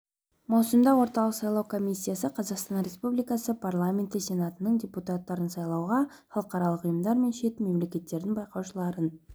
маусымда орталық сайлау комиссиясы қазақстан республикасы парламенті сенатының депутаттарын сайлауға халықаралық ұйымдар мен шет мемлекеттердің байқаушыларын